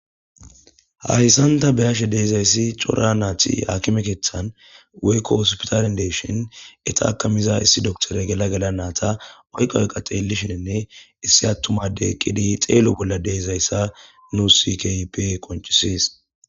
Hahissanta beyashe deezayssi cora naati hakimekethan waykko ospitarindeshin eta akamiza issi doktore gela geda naata oyqa oyqa xeellishinne issi attumade qidi xeelo bolla deezayssa nu sikpe qoncisis.